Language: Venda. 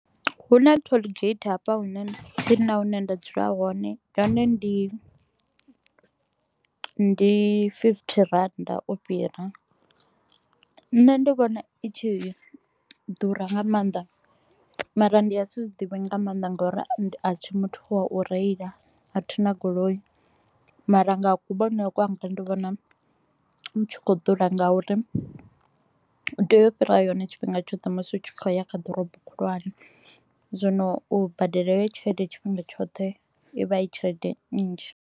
Hu na tollgate hafha hune tsini na hune nda dzula hone, yone ndi ndi fifty rannda u fhira. Nṋe ndi vhona i tshi ḓura nga maanḓa mara ndi nga si zwi divhe nga maanḓa nga u ri a thi muthu wa u reila, a thi na goloi mara nga ha kuvhonele kwanga ndi vhona i tshi kho u ḓura nga u ri u tea u fhira yone tshifhinga tshoṱhe musi u tshi khou ya kha ḓorobo khulwane. Zwino u badela heyo tshelede tshifhinga tshoṱhe, i vha i tshelede nnzhi.